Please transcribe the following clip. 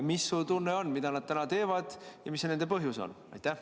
Mis su tunne on, mida nad teevad ja mis see nende põhjus on?